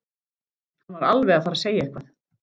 Hann var alveg að fara að segja eitthvað.